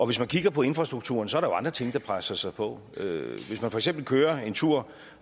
hvis man kigger på infrastrukturen ser er andre ting der presser sig på hvis man for eksempel kører en tur